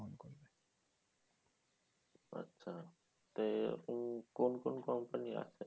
আচ্ছা তে এখন এখন কোন কোন company আছে?